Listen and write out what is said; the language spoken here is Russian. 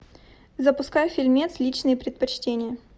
запускай фильмец личные предпочтения